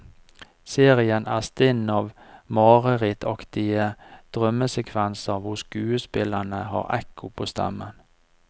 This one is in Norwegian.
Serien er stinn av marerittaktige drømmesekvenser hvor skuespillerne har ekko på stemmen.